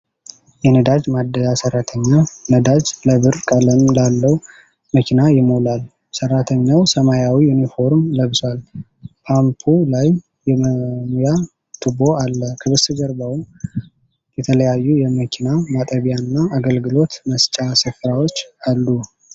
የነዳጅ ማደያ ሠራተኛ ነዳጅ ለብር ቀለም ላለው መኪና ይሞላል። ሠራተኛው ሰማያዊ ዩኒፎርም ለብሷል። ፓምፑ ላይ የመሙያ ቱቦ አለ። ከበስተጀርባው የተለያዩ የመኪና ማጠቢያና አገልግሎት መስጫ ስፍራዎች አሉ።